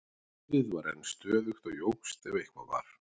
Suðið var enn stöðugt og jókst ef eitthvað var.